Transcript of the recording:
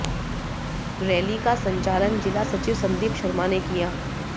rally का संचालन जिला सचिव संदीप शर्मा ने किया